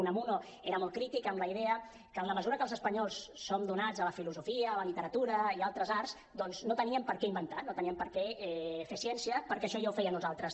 unamuno era molt crític amb la idea que en la mesura que els espanyols som donats a la filosofia a la literatura i a altres arts doncs no teníem per què inventar no teníem per què fer ciència perquè això ja ho feien uns altres